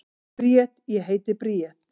Bríet: Ég heiti Bríet.